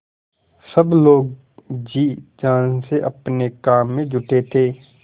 सब लोग जी जान से अपने काम में जुटे थे